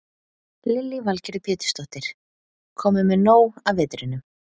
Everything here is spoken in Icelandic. Lillý Valgerður Pétursdóttir: Kominn með nóg af vetrinum?